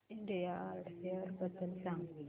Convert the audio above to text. India art fair बद्दल सांग